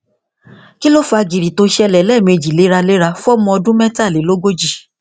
kí ló ń fa gìrì tó ṣẹlẹ lẹẹmejì léraléra fún ọmọ ọdún mẹtàlélógójì